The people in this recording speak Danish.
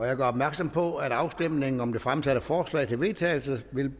jeg gør opmærksom på at afstemningen om det fremsatte forslag til vedtagelse vil